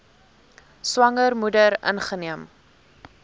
swanger moeder ingeneem